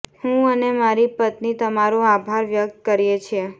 હું અને મારી પત્ની તમારો આભાર વ્યક્ત કરીએ છીએ